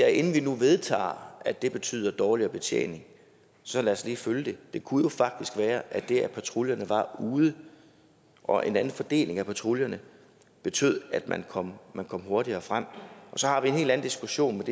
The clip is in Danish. at inden vi nu vedtager at det betyder dårligere betjening så lad os lige følge det det kunne jo faktisk være at det at patruljerne var ude og en anden fordeling af patruljerne betød at man kom hurtigere frem så har vi en helt anden diskussion men